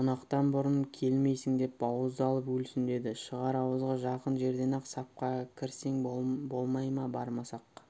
қонақтан бұрын келмейсің деп бауыздалып өлсін деді шығар ауызға жақын жерден-ақ сапқа кірсең болмай ма бармасақ